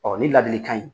Ɔ ni ladilikan in